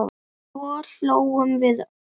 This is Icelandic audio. Svo hlógum við öll.